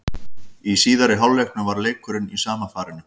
Í síðari hálfleiknum var leikurinn í sama farinu.